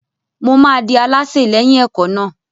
Mo máa di alásè lẹ́yìn ẹ̀kọ́ náà.